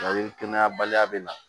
kɛnɛyabaliya bɛ na